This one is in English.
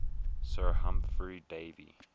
sir humphry davy